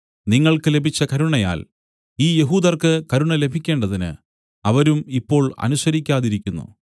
നിങ്ങൾക്ക് ലഭിച്ച കരുണയാൽ ഈ യഹൂദർക്കു കരുണ ലഭിക്കേണ്ടതിന് അവരും ഇപ്പോൾ അനുസരിക്കാതിരിക്കുന്നു